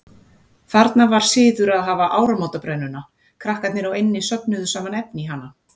Þarna var siður að hafa áramótabrennuna, krakkarnir á eynni söfnuðu saman efni í hana.